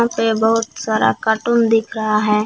ये बहुत सारा कार्टून दिख रहा है।